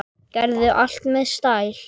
Gerði allt með stæl.